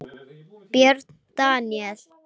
Björn Daníel?